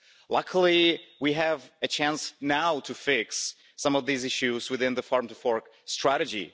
Luckily, we have a chance now to fix some of these issues within the Farm to Fork Strategy.